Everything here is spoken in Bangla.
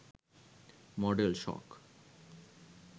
মডেল শখ